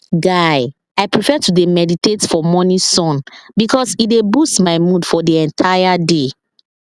guy i prefer to dey meditate for morning sun because e dey boost my mood for the entire day